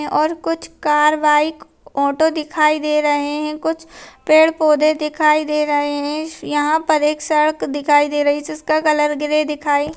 और कुछ car bike auto दिखाई दे रहे है कुछ पेड़ पौधे दिखाई दे रहे है यहां पे एक सड़क दिखाई दे रहा है जिसका कलर ग्रे दिखाई--